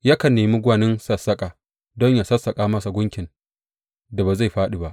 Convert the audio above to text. Yakan nemi gwanin sassaƙa don yă sassaƙa masa gunkin da ba zai fāɗi ba.